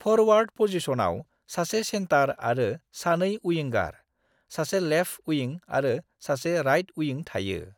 Forward पजिशनाव सासे centre आरो सानै उइंगार: सासे लेफ्ट उइं आरो सासे राइट उइं थायो।